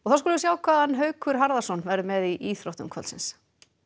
skulum við sjá hvað Haukur Harðarson verður með í íþróttum kvöldsins